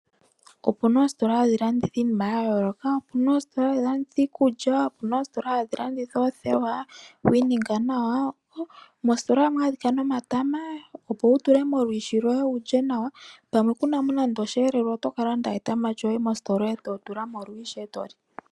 Opu na oositola hadhi landitha iinima ya yooloka, opu na oositola hadhi landitha iikulya, opu na oositola hadhi landitha oothewa dhokwiininga nawa. Moositola ohamu adhika nomatama opo wu tule molwiishi lwoye wulye nawa, pamwe kuna mo nande osheyilelelwa oto ka landa owala etama lyoye eto tula molwiishi etoli.